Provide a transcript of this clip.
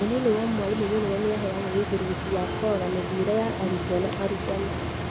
Mũnini wa mwarimũ mũnene nĩahegwo ũigĩrĩrĩki wa kũrora mĩthiĩre ya arutwo na arutani